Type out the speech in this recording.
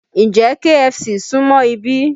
Ǹjẹ́ KFC súmọ́ ibí?